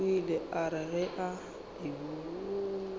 o ile a re ge